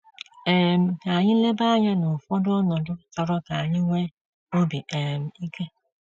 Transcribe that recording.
um Ka anyị leba anya n’ụfọdụ ọnọdụ chọrọ ka anyị nwee obi um ike.